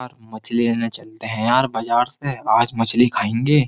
मछली लेने चलते हैं यार बाजार से आज मछली खाएंगे।